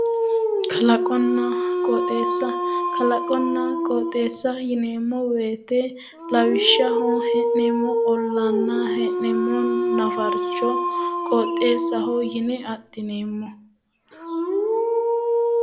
Kalaqonna qoxxeessa, kalaqonna qoxxeesa yineemmo woyte lawishshaho hee'neemmo ollanna hee'nemmo nafarcho qoxxeesaho yinne adhineemmo.